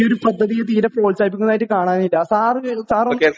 നഗര സഭ തീരെ പ്രോത്സാഹിപ്പിക്കുന്നത് കാണുന്നില്ല